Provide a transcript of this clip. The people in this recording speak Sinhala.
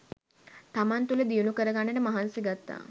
තමන් තුළ දියුණු කරගන්නට මහන්සි ගත්තා